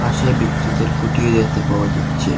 পাশে বিদ্যুতের খুঁটিও দেখতে পাওয়া যাচ্ছে।